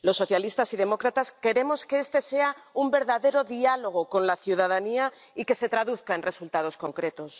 Los Socialistas y Demócratas queremos que este sea un verdadero diálogo con la ciudadanía y que se traduzca en resultados concretos.